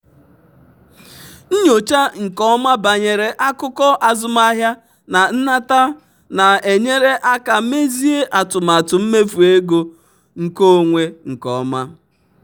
nyochaa nke ọma banyere akụkọ azụmahịa na nnata na-enyere aka mezie atụmatụ mmefu ego nkeonwe nke ọma.